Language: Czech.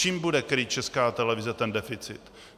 Čím bude krýt Česká televize ten deficit?